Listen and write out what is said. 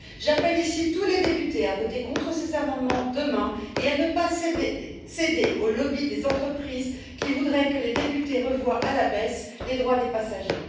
J'appelle ici tous les députés à voter contre ces amendements demain et à ne pas céder aux lobbies des entreprises qui voudraient que les députés revoient à la baisse les droits des passagers.